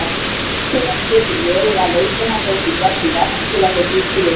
Nauðsynlegt getur verið að leiðbeina þeim í gegnum verk til að þeir ljúki við það.